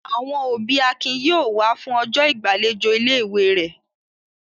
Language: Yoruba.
Àwọn òbí Akin yóò wá fún ọjọ́ ìgbàlejò ilé-ìwé rẹ̀.